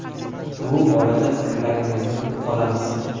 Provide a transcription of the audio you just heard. Bu borada fikrlaringizni kutib qolamiz.